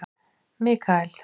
Mikael